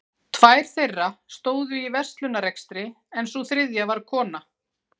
Tvær þeirra stóðu í verslunarrekstri en sú þriðja var kona